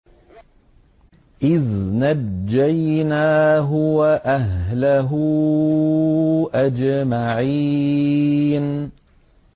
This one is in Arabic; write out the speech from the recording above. إِذْ نَجَّيْنَاهُ وَأَهْلَهُ أَجْمَعِينَ